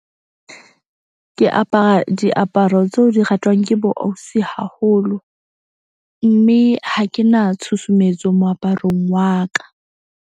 Ke apara diaparo tseo di ratwang ke bo ausi haholo, mme ha ke na tshusumetso moaparong wa ka.